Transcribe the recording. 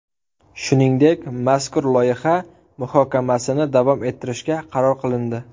Shuningdek, mazkur loyiha muhokamasini davom ettirishga qaror qilindi.